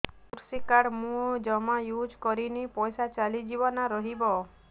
କୃଷି କାର୍ଡ ମୁଁ ଜମା ୟୁଜ଼ କରିନି ପଇସା ଚାଲିଯିବ ନା ରହିବ